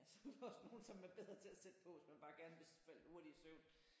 Ja så er der også nogen som er bedre til at sætte på hvis man bare gerne vil falde hurtigt i søvn